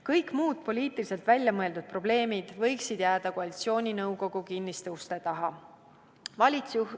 Kõik muud poliitiliselt välja mõeldud probleemid võiksid jääda koalitsiooninõukogu kinniste uste taha.